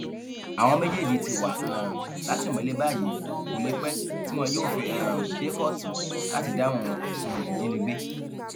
àwọn méjèèjì ti wà um látìmọlé báyìí kó lè pẹ tí wọn yóò fi um dé kóòtù láti dáhùn ẹsùn ìjínigbé